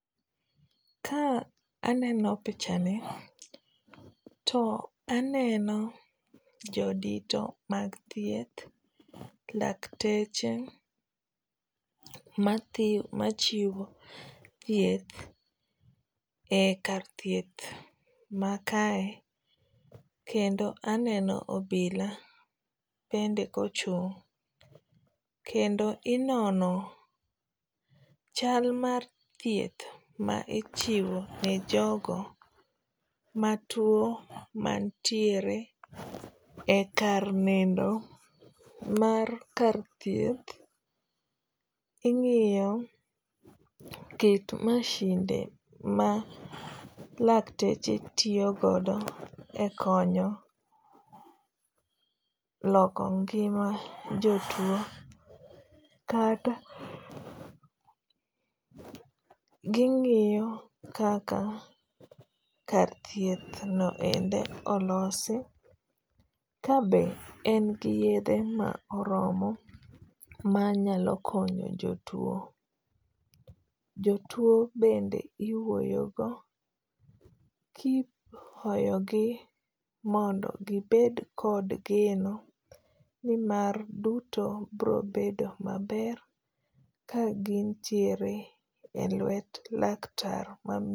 Ka aneno pichani to aneno jodito mag thieth, lakteche machiwo thieth e kar thieth ma kae. Kendo aneno obila bende ochung'. Kendo inono chal mar thieth ma ichiwo ne jogo matuo mantiere e kar nindo mar kar thieth. Ing'iyo kit masinde ma lakteche tiyogodo e konyo loko ngima jotuo. Kata ging'iyo kaka kar thieth no ende olosi ka be en gi yedhe ma oromo manyalo konyo jotuo. Jotuo bende iwuoyo go kipuoyo gi mondo gibed kod geno nimar duto biro bedo maber ka gintiere e lwet laktar.